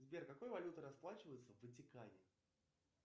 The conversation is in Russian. сбер какой валютой расплачиваются в ватикане